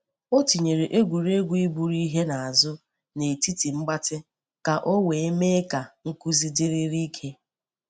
O tinyere egwuregwu iburu ihe n’azu n’etiti mgbatị ka o wee mee ka nkụzi dịrịrị ike.